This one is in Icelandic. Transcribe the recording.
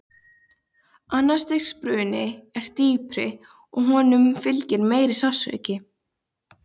Annars stigs bruni er dýpri og honum fylgir meiri sársauki.